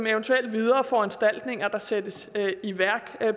eventuelle videre foranstaltninger der skal sættes i værk